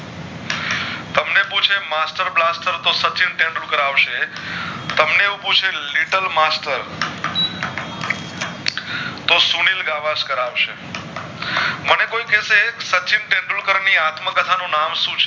સચિન તેંડુલકર આવશે તમને એવું પૂછે Little Master તો સુનિલ ગવશકાર આવશે મને કોઈ કેશે સચિન તેંડુલકર ની આત્મ કથા નું નામે શું છે